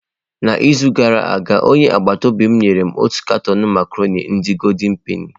N’izu gara aga, onye agbata obi m nyere m otu katọn macarọnị ndi goldị penị.